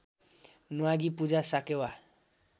न्वागी पूजा साकेवा